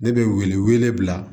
Ne bɛ wele wele bila